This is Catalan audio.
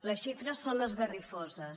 les xifres són esgarrifoses